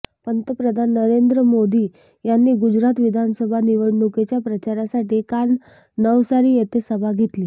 पंतप्रधान नरेंद्र मोदी यांनी गुजरात विधानसभा निवडणुकीच्या प्रचारासाठी काल नवसारी येथे सभा घेतली